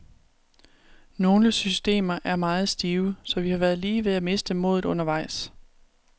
Nogle systemer er meget stive, så vi har været lige ved at miste modet undervejs.